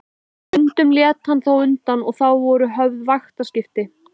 Stundum lét hann þó undan og þá voru höfð vaktaskipti.